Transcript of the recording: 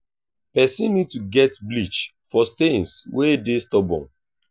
person need to get bleach for stains wey dey stubborn